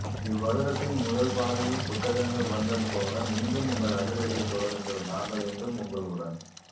இவ்வருடத்தின் முதல் பாதியில் புத்தகங்கள் வந்தது போல மீண்டும் உங்கள் அதிரடியை தொடருங்கள் நாங்கள் என்றும் உங்களுடன்